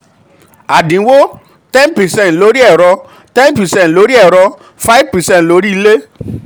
àdínwó: ten percent lórí ẹ̀rọ ten percent lórí ẹ̀rọ five percent lórí ilé.